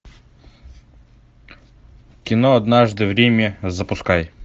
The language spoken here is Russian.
кино однажды в риме запускай